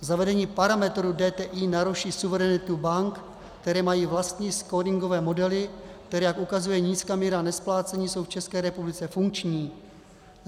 Zavedení parametru DTI naruší suverenitu bank, které mají vlastní skóringové modely, které, jak ukazuje nízká míra nesplácení, jsou v České republice funkční.